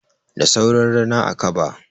Da sauran rina, a kaba.